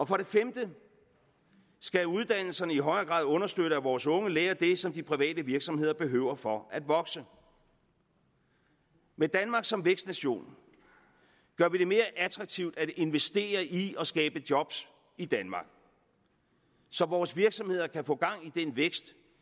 for det femte skal uddannelserne i højere grad understøtte at vores unge lærer det som de private virksomheder behøver for at vokse med danmark som vækstnation gør vi det mere attraktivt at investere i og skabe job i danmark så vores virksomheder kan få gang i den vækst